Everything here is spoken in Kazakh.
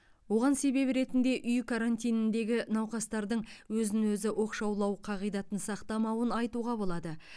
оған себеп ретінде үй карантиніндегі науқастардың өзін өзі оқшаулау қағидатын сақтамауын айтуға болады